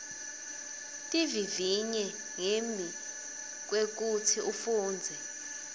tivivinye ngembi kwekutsi ufundze